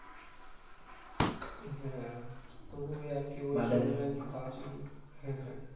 হ্যাঁ তো ওই আরকি ওই সময় আরকি ভাবছিলাম হ্যাঁ হ্যাঁ